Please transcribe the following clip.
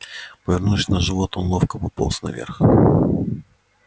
повернувшись на живот он ловко пополз наверх